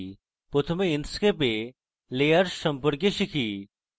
প্রথমে আমরা inkscape we layers সম্পর্কে শিখব